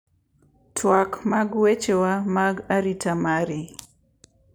Twak mag wechewa mag arita mari